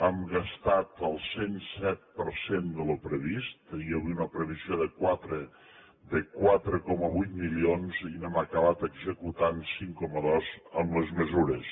hem gastat el cent i set per cent del que teníem previst teníem una previsió de quatre coma vuit milions i n’hem acabat executant cinc coma dos amb les mesures